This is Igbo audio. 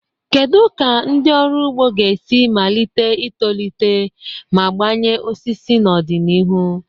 Kedu ka ndị ọrụ ugbo ga-esi malite itolite ma gbanye osisi n'ọdịnihu?